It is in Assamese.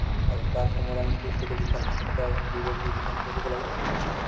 আৰু তাৰ সমাধানতো কি সেইটো বিষয়ে আমি চিন্তাৰ বিবেক বিবেচনা কৰিব লাগে